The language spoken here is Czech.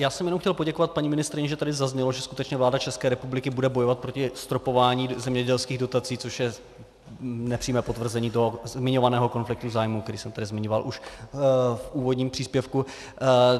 Já jsem jenom chtěl poděkovat paní ministryni, že tady zaznělo, že skutečně vláda České republiky bude bojovat proti zastropování zemědělských dotací, což je nepřímé potvrzení toho zmiňovaného konfliktu zájmů, který jsem tady zmiňoval už v úvodním příspěvku.